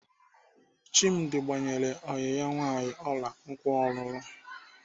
Chimdi gbanyere ọyị ya nwaanyị ọla nkwa ọlụlụ.